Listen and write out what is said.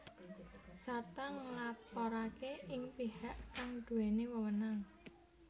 Sarta nglaporake ing pihak kang duweni wewenang